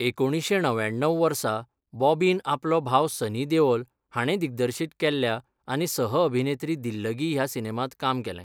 एकुणीशें णव्याण्णव वर्सा बॉबीन आपलो भाव सनी देओल हाणें दिग्दर्शीत केल्ल्या आनी सह अभिनेत्री दिल्लगी ह्या सिनेमांत काम केलें.